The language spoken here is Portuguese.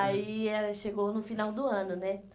Aí ela chegou no final do ano, né?